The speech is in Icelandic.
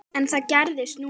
En það gerðist núna.